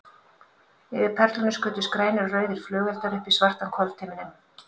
Yfir Perlunni skutust grænir og rauðir flugeldar upp í svartan kvöldhimininn.